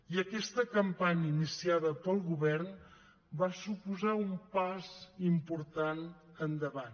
i aquesta campanya iniciada pel govern va suposar un pas important endavant